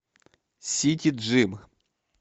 сити джим